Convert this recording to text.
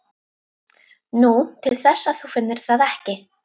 Nú, til þess að þú finnir það ekki.